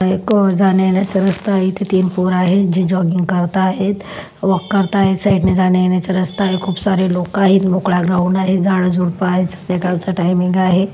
हा एक जाण्यायेण्याचा रस्ता आहे इथे तीन पोर आहेत जे जॉगिंग करत आहेत वॉक करताएत साइड ने जाण्यायेण्याचा रस्ता आहे खूप सारे लोक आहेत मोकळा ग्राऊंड आहे झाडझुडप आहेत संध्याकाळचा टाईमिंग आहे.